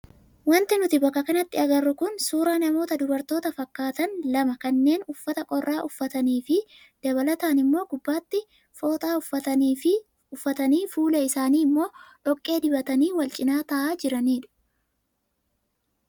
Wanti nuti bakka kanatti agarru kun suuraa namoota dubartoota fakkaatan lama kanneen uffata qorraa uffatanii fi dabalataan immoo gubbaatti fooxaa uffatanii fuula isaanii immoo dhoqqee dibatanii wal cinaa taa'aa jiranidha.